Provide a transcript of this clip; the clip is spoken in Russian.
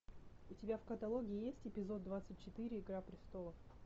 у тебя в каталоге есть эпизод двадцать четыре игра престолов